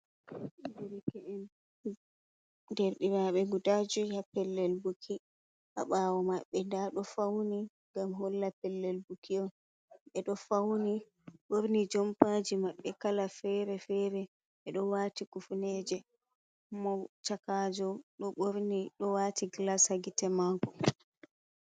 Ɗerkeen Ɗerɗirabe guda joi pellel buki. Ha bawo mabbe dado fauni ngam holla pellel buki on. Bedo fauni jompaji maɓbe kala fere-fere. Bedo wati kufuneje mo chakajo do borni ɗo wati gilass ha gite mako.